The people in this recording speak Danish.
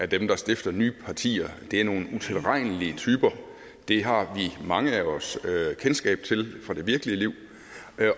dem der stifter nye partier er nogle utilregnelige typer det har mange af os kendskab til fra det virkelige liv